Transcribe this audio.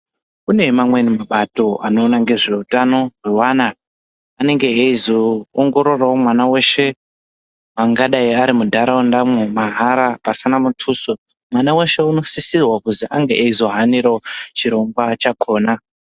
Kune amweni mabato anoona ngezvehutano awo evana anenge eizoongororawo mwana weshe angadai ari mundaraunda umo mahara pasina mutuso mwana weshe anosisirwa kuzi ange eizohanirawo chirongwa chakona.